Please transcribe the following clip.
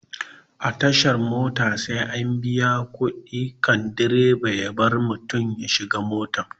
A tashan mota sai an biya kuɗi kan direba ya bar mutum ya shiga mota